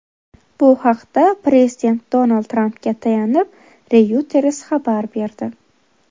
Bu haqda prezident Donald Trampga tayanib, Reuters xabar berdi .